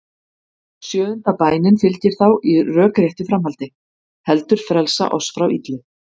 Sjöunda bænin fylgir þá í rökréttu framhaldi: Heldur frelsa oss frá illu.